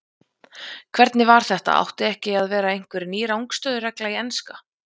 Hvernig var þetta átti ekki að vera einhver ný rangstöðu-regla í enska?